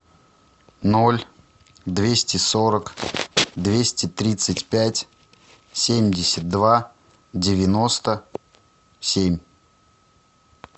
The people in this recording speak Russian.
ноль двести сорок двести тридцать пять семьдесят два девяносто семь